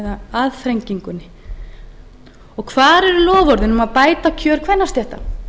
eða aðþrengingunni og hvar eru loforðin um að bæta kjör kvennastétta